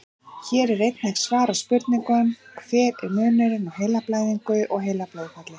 Hér er einnig svarað spurningunum: Hver er munurinn á heilablæðingu og heilablóðfalli?